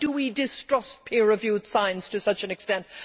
Why do we distrust peer reviewed science to such an extent?